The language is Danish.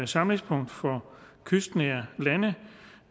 samlingspunkt for kystnære lande